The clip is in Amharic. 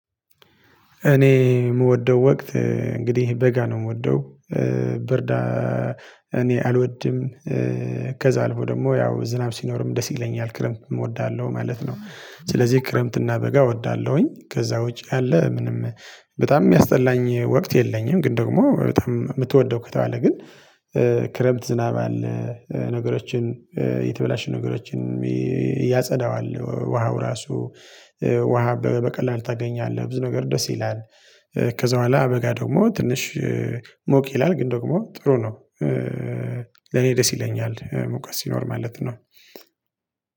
እኔ የምወደው ወቅት እንግዲህ በጋ ነው የምወደው ብርዳ እኔ አልወድም ከዛ አልፎ ደግሞ ያው ዝናብ ሲኖርም ደስ ይለኛል ክረምት እወዳለሁ ማለት ነው። ስለዚህ ክረምትና በጋ እወዳለሁኝ ከዛ ውጪ ያለ ምንም በጣም የሚያስጠላኝ ወቅት የለኝም። ግን ደግሞ በጣም የምትወደው ከተባለ ግን። ክረምት ዝናብ አለ ነገሮችን የተበላሹ ነገሮችን ያጸዳዋል ውሃው ራሱ ውሃ በቀላል ታገኛለህ ብዙ ነገር ደስ ይላል። ከዛ በኋላ በጋ ደግሞ ትንሽ ሞቅ ይላል ግን ደግሞ ጥሩ ነው። ለኔ ደስ ይለኛል ሙቀት ሲኖር ማለት ነው።